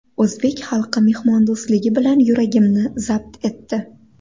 O‘zbek xalqi mehmondo‘stligi bilan yuragimni zabt etdi.